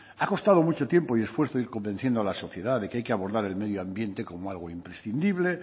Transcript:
ha costado mucho tiempo y esfuerzo ir convenciendo a la sociedad de que hay que abordar el medio ambiente como algo imprescindible